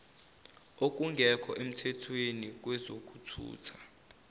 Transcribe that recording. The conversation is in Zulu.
okungekho emthethweni kwezokuthutha